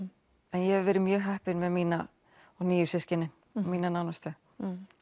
en ég hef verið mjög heppin með mín nýju systkini og mína nánustu